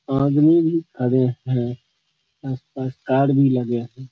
आदमी भी खड़े है। भी लगे है।